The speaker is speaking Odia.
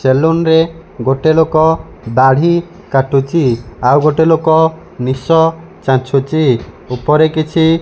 ସେଲୁନ୍ ରେ ଗୋଟେ ଲୋକ ଦାଢ଼ି କାଟୁଚି ଆଉ ଗୋଟେ ଲୋକ ନିଶ ଚାଚ୍ଛୁଚି ଉପରେ କିଛି --